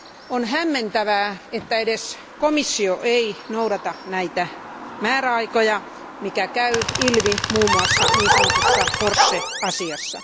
On hämmentävää, että edes komissio ei noudata näitä määräaikoja, mikä käy ilmi muun muassa niin sanotusta Porsche asiasta.